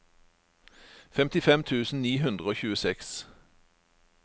femtifem tusen ni hundre og tjueseks